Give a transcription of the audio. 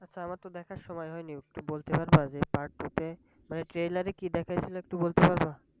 আচ্ছা আমার তো দেখার সময় হয়নি, একটু বলতে পারবা যে Part টু তে মানে Trailer এ কি দেখায়াছিলা একটু বলতে পারবা?